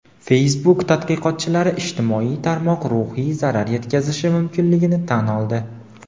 Facebook tadqiqotchilari ijtimoiy tarmoq ruhiy zarar yetkazishi mumkinligini tan oldi.